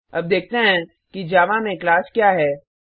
अब देखते हैं कि जावा में क्लास क्या है